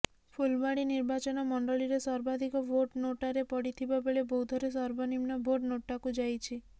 ଫୁଲବାଣୀ ନିର୍ବାଚନ ମଣ୍ଡଳୀରେ ସର୍ବାଧିକ ଭୋଟ ନୋଟାରେ ପଡିଥିବା ବେଳେ ବୌଦ୍ଧରେ ସର୍ବନିମ୍ନ ଭୋଟ ନୋଟାକୁ ଯାଇଛି